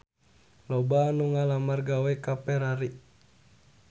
Loba anu ngalamar gawe ka Ferrari